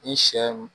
Ni sɛ